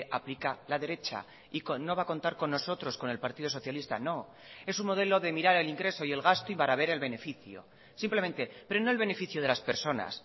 aplica la derecha y no va a contar con nosotros con el partido socialista no es un modelo de mirar el ingreso y el gasto y para ver el beneficio simplemente pero no el beneficio de las personas